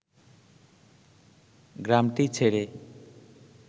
গ্রামটি ছেড়ে